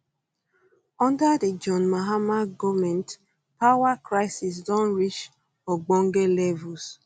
under di john mahama goment power crisis don reach ogbonge levels